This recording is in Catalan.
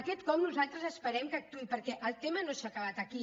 aquest cop nosaltres esperem que actuï perquè el tema no s’ha acabat aquí